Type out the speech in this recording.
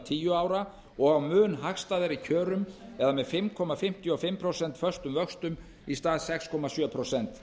tíu ára og á mun hagstæðari kjörum eða með fimm komma fimmtíu og fimm prósent föstum vöxtum í stað sex komma sjö prósent